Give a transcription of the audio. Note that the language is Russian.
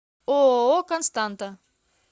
ооо константа